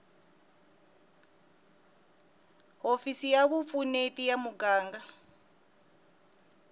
hofisi ya vupfuneti ya muganga